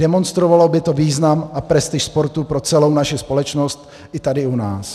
Demonstrovalo by to význam a prestiž sportu pro celou naši společnosti i tady u nás.